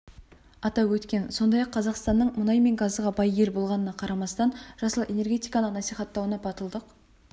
атап өткен сондай-ақ қазақстанның мұнай мен газға бай ел болғанына қарамастан жасыл энергетиканы насихаттауны батылдық